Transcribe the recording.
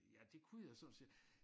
Ja det kunne jeg sådan set